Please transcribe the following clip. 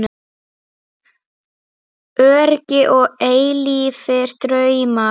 Öryggi og eilífir draumar